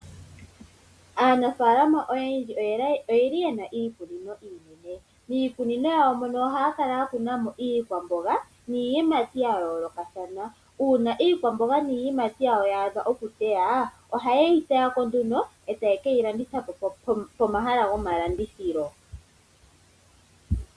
Aanafaalama oyendji oye li yena iikunino iinene. Miikununo mono ohaya kala yakunamo iikwamboga niiyimati yayoolokathana . Uuna iikwamboga niiyimati yaadha okutewa ohaye yi teyako nduno etaye keyi landitha pomahala gomalandithilo.